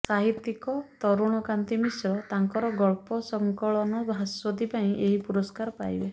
ସାହିତ୍ୟିକ ତରୁଣକାନ୍ତି ମିଶ୍ର ତାଙ୍କର ଗଳ୍ପ ସଙ୍କଳନ ଭାସ୍ୱତୀ ପାଇଁ ଏହି ପୁରସ୍କାର ପାଇବେ